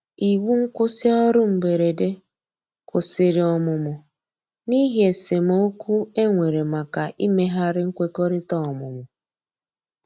iwu nkwusi orụ mgberede kwụsìrì ọmụmụ n'ihi esemeokwụ enwere maka imeghari nkwekọrịta ọmụmụ